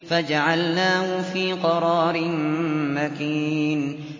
فَجَعَلْنَاهُ فِي قَرَارٍ مَّكِينٍ